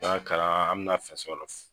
N'i kalan an mɛna fɛ